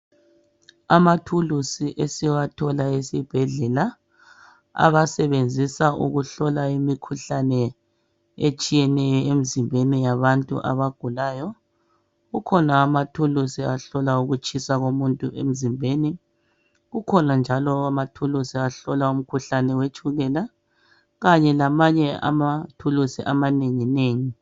Amathulusi esiwathola esibhedlela, abasebenzisa ukuhlola imikhuhlane etshiyeneyo emzimbeni yabantu abagulayo. Kukhona amathulusi ahlola ukutshisa komuntu emzimbeni, kukhona njalo amathulusi ahlola umkhuhlane wetshukela kanye lamanye amathulusi amanenginengi.